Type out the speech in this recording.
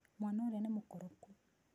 Mwana ũrĩa nĩ mũkoroku.